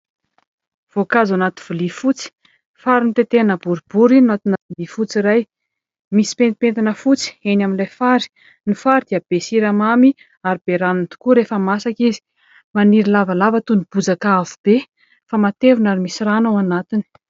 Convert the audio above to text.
Voankazo anaty vilia fotsy, fary notetehina boribory no anatina vilia fotsy iray. Misy pentimpentina fotsy eny amin'ilay fary. Ny fary dia be siramamy ary be rano tokoa rehefa masaka izy. Maniry lavalava toy ny bozaka avo be fa matevina ary misy rano ao anatiny.